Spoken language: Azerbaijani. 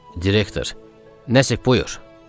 Direktor, nəsə buyur, dedi.